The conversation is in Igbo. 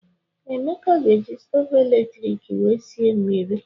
Ee, Emeka ga-eji stovu eletrik wee sie mmiri.